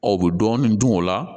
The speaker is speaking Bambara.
Ɔ u bɛ dɔɔnin dun o la